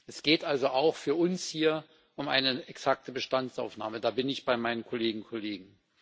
Es geht also auch für uns hier um eine exakte Bestandsaufnahme da bin ich bei meinen Kolleginnen und Kollegen.